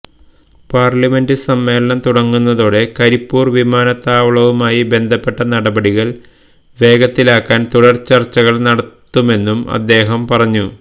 parliament സമ്മേളനം തുടങ്ങുന്നതോടെ കരിപ്പൂര് വിമാനത്താവളവുമായി ബന്ധപ്പെട്ട നടപടികള് വേഗത്തിലാക്കാന് തുടര് ചര്ച്ചകള് നടത്തുമെന്നും അദ്ദേഹം പറഞ്ഞു